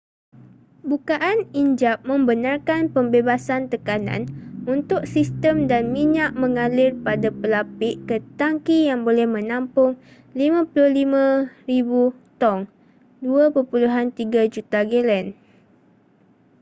bukaan injap membenarkan pembebasan tekanan untuk sistem dan minyak mengalir pada pelapik ke tangki yang boleh menampung 55,000 tong 2.3 juta gelen